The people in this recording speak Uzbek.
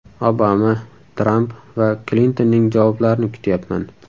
Obama, Tramp va Klintonning javoblarini kutyapman.